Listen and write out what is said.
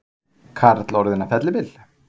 Karl orðinn að fellibyl